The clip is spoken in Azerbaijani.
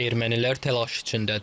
Ermənilər təlaş içindədirlər.